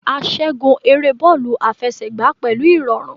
A ṣẹgun ere bọọlu afẹsẹgba pẹlu irọrun